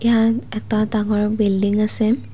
ইয়াত এটা ডাঙৰ বিল্ডিং আছে।